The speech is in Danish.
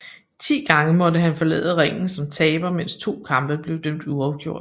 Ti gange måtte han forlade ringen som taber mens 2 kampe blev dømt uafgjort